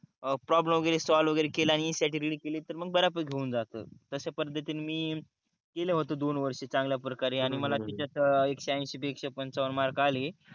problem वगेरे solve वगेरे केल्याणी स्टॅटयूटॉरी केली तर मग बराबर होऊन जाते तश्या पद्धतिनि मी केल होत दोन वर्ष चांगल्या प्रकारे आणि मला त्याच्या एकशे अनशी पैकी एकशे पंचावण मार्क आले